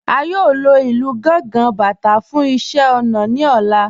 A yóò lọ ilú Gàngà, Bátà fún iṣẹ̀ naa ní ọ̀lá.